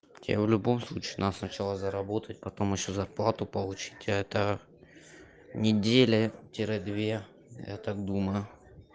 тебе в любом случае надо сначала заработать потом ещё зарплату получить это неделя тире две я так думаю